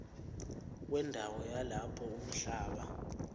wendawo yalapho umhlaba